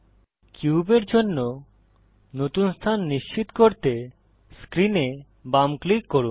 কিউবের জন্য নতুন স্থান নিশ্চিত করতে স্ক্রিনে বাম ক্লিক করুন